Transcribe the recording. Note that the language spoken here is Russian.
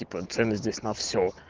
типо цены здесь на все